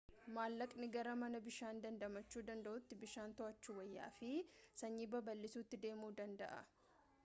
mallaqnii gara mana bishaan dandamachu danda'uutti bishaan to'achuu wayyaa fi sanyii babal'isuutti deemuu danda'a